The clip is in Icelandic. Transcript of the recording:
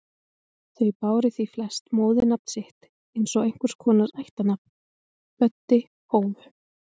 Þau báru því flest móðurnafn sitt eins og einhvers konar ættarnafn: Böddi Hófu